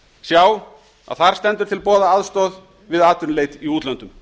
sjá að þar stendur til boða aðstoð við atvinnuleit í útlöndum